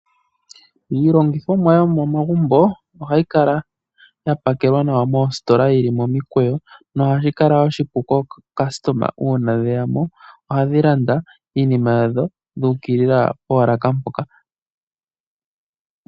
Iilongithomwa yomomagumbo ohayi kala ya pakelwa nawa moositola yili momikweyo. Ohashi kala oshipu kaalandi uuna yeya mo, ohaya landa iinima yadho yu ukilila poolaka mpoka.